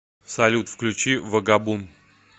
салют включи вагабун